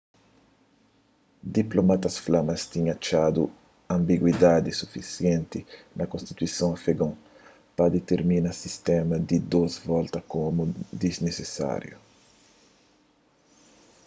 diplomatas fla ma es tinha atxadu anbiguidadi sufisienti na konstituison afegon pa ditirmina sistéma di dôs volta komu disnisisáriu